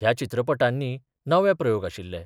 ह्या चित्रपटांनी नवे प्रयोग आशिल्ले.